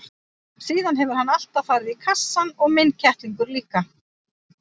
Síðan hefur hann alltaf farið í kassann og minn kettlingur líka.